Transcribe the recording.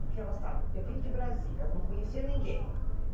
Porque elas estavam... eu vim de Brasília, eu não conhecia ninguém.